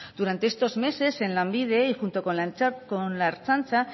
durante estos meses en lanbide y junto con la ertzaintza